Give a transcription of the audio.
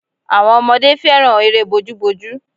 Àwọn ọmọdé fẹ́ràn eré bojúbojú